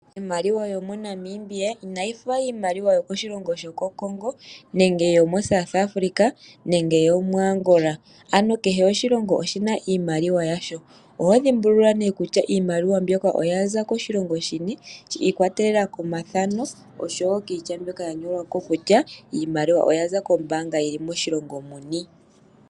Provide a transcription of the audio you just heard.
Iimaliwa yo moNamibia inayi fa iimaliwa yo koshilongo Congo, nenge yo moSouth Africa nenge yo moAngola. Ano kehe oshilongo oshina iimaliwa yasho. Oho dhimbulula nee kutya iimaliwa mbyoka oyaza koshilongo shini, shi ikwatelela komathano oshowo kiitya mbyoka ya nyolwa ko kutya iimaliwa oyaza kombaanga yili moshilongo muni.